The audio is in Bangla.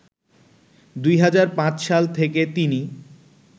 ২০০৫ সাল থেকে তিনি